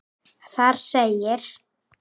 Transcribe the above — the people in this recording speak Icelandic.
Þar segir: